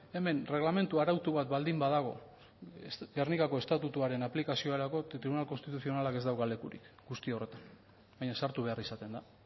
hemen erregelamendu arautu bat baldin badago gernikako estatutuaren aplikaziorako tribunal konstituzionalak ez dauka lekurik guzti horretan baina sartu behar izaten da